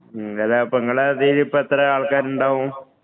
നിങ്ങടെ അതില് ഇപ്പം എത്ര ആളുകളുണ്ടാവും.